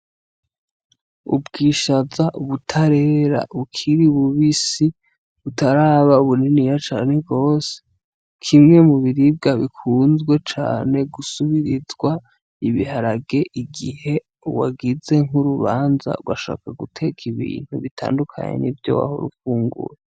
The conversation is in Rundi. Ubwishaza butarera bukiri bubisi, butaraba buniniya cane, kimwe mu biribwa bikunzwe cane gusubirizwa ibiharage igihe wagize nk'urubanza ugashaka guteka ibintu bitandukanye nivyo wahora ufungura..